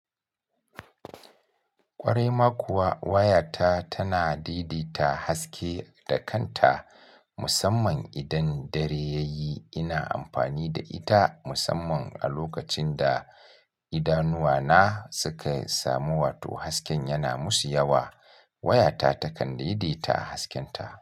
Ƙwarai ma kuwa wayata tana dedeta haske da kanta musamman idan dare yayi. Ina amfani da ita musamman a lokacin da idanuwana suka samu wato hasken yana musu yawa. Wayata takan dedeta haskenta.